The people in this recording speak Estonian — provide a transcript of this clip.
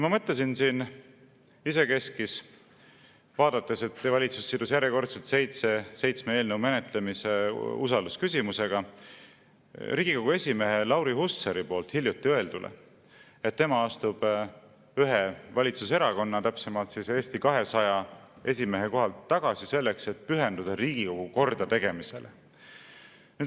Ma mõtlesin siin isekeskis – vaadates, et valitsus sidus seitsme eelnõu menetlemise usaldusküsimusega – Riigikogu esimehe Lauri Hussari hiljuti öeldule, et tema astub ühe valitsuserakonna, täpsemalt Eesti 200 esimehe kohalt tagasi, selleks et pühenduda Riigikogu kordategemisele.